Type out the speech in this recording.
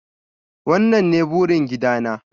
wannan ne burin gida na.